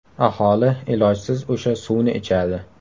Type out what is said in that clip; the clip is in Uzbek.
Aholi ilojsiz o‘sha suvni ichadi.